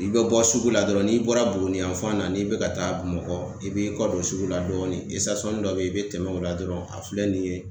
I bɛ bɔ sugu la dɔrɔn n'i bɔra Buguni yanfan na n'i bɛ ka taa Bamakɔ i b'i kɔ don sugu la dɔɔnin dɔ bɛ ye i bɛ tɛmɛ o la dɔrɔni a filɛ nin ye